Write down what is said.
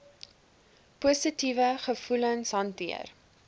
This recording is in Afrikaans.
positiewe gevoelens hanteer